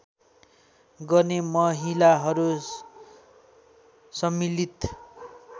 गर्ने महिलाहरू सम्मिलित